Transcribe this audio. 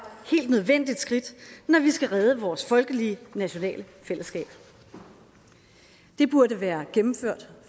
helt nødvendigt skridt når vi skal redde vores folkelige nationale fællesskab det burde være gennemført